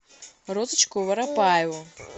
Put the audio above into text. розочку воропаеву